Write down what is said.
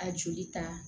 A joli ta